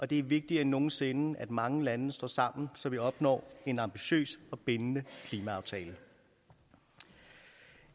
det er vigtigere end nogen sinde at mange lande står sammen så vi opnår en ambitiøs og bindende klimaaftale